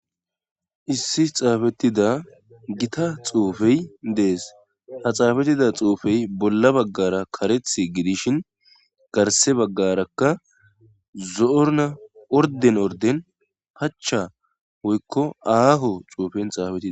Issi xaafettida gita xuufey dees ha xaafettida xuufey bolla baggara kareth gidishin garse baggarakka zo'orna orden orden pacha woykko aaho xuufen xaafetidi.